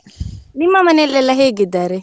ನಿಮ್ಮ ಮನೆಯಲ್ಲೆಲ್ಲ ಹೇಗಿದ್ದಾರೆ?